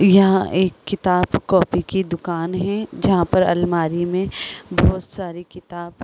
यहां एक किताब कॉपी की दुकान है जहां पर अलमारी में बहुत सारी किताब --